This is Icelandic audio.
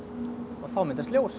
og þá myndast ljós